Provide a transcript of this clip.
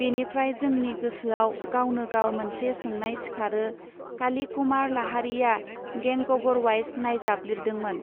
बेनिफ्राय जोंनि गोसोआव गावनो गाव मोनसे सोंनाय सिखारो काली कुमार लाहारीया गैंगबरवाइस नायजाब लिरदोंमोन.